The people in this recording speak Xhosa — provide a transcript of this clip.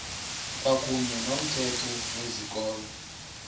kwakuyne nomthetho wezikolo